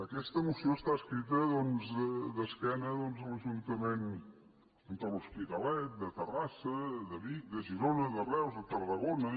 aquesta moció està escrita doncs d’esquena a l’ajuntament de l’hospitalet de terrassa de vic de girona de reus de tarragona